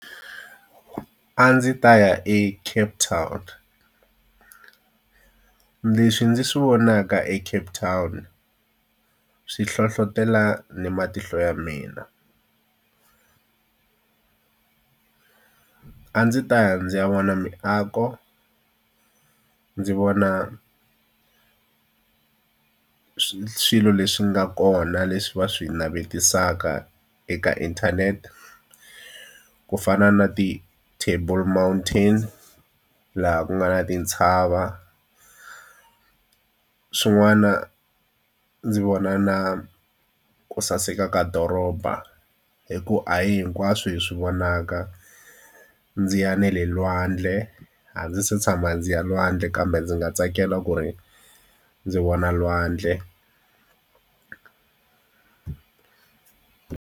A ndzi ta ya eCape Town. Leswi ndzi swi vonaka eCape Town swi hlohletelo ni matihlo ya mina a ndzi ta ndzi ya vona miako ndzi vona swilo leswi nga kona leswi va swi navetisaka eka inthanete, ku fana na ti-Table Mountain laha ku nga na tintshava. Swin'wana ndzi vona na ku saseka ka doroba hikuva a hi hinkwaswo hi swi vonaka. Ndzi ya na le lwandle, a ndzi se tshama ndzi ya lwandle kambe ndzi nga tsakela ku ri ndzi vona lwandle.